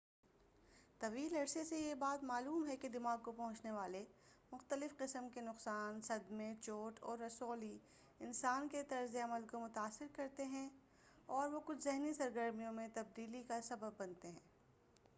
طویل عرصے سے یہ بات معلوم ہے کہ دماغ کو پہنچنے والے مختلف قسم کے نقصان صدمے چوٹ اور رسولی انسان کے طرز عمل کو متاثر کرتے ہیں اور وہ کچھ ذہنی سرگرمیوں میں تبدیلی کا سبب بنتے ہیں